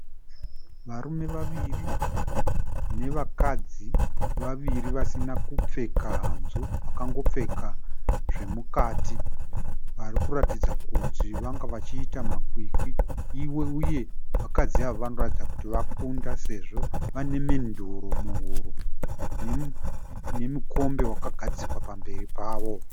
Varume vaviri nevakadzi vaviri vasina kupfeka hanzu vakangopfeka zvemukati. Vari kuratidza kuti vanga vachiita makwikwi uye vakadzi ava vanoratidza kuti vakunda sezvo vane menduro muhuro nemukombe wakagadzikwa pamberi pavo.